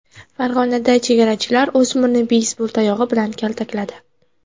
Farg‘onada chegarachilar o‘smirni beysbol tayog‘i bilan kaltakladi .